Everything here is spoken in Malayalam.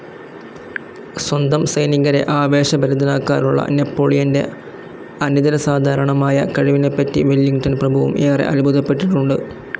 സ്വന്തം സൈനികരെ ആവേശഭരിതരാക്കാനുള്ള നെപ്പോളിയൻ്റെ അനിതരസാധാരണമായ കഴിവിനെപ്പറ്റി വെല്ലിങ്ടൺ പ്രഭുവും ഏറെ അത്ഭുതപെട്ടിട്ടുണ്ട്.